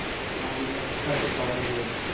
ਹਾਂਜੀ mix ਕਰਕੇ ਪ ਦਈਦੇ ਆ